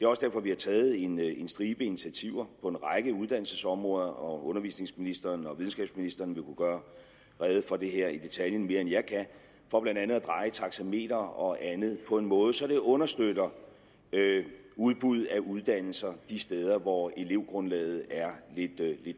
også derfor vi har taget en en stribe initiativer på en række uddannelsesområder undervisningsministeren og videnskabsministeren vil kunne gøre rede for det her i detaljen mere end jeg kan for blandt andet at dreje taxameter og andet på en måde så det understøtter udbuddet af uddannelser de steder hvor elevgrundlaget er lidt